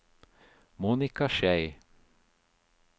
Monika Schei